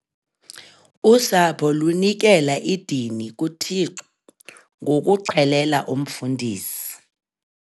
Usapho lunikela idini kuThixo ngokuxhelela umfundisi.